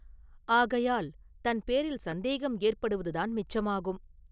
ஆகையால் தன் பேரில் சந்தேகம் ஏற்படுவது தான் மிச்சமாகும்.